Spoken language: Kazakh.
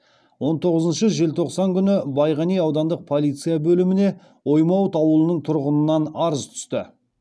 он тоғызыншы желтоқсан күні байғани аудандық полиция бөліміне оймауыт ауылының тұрғынынан арыз түсті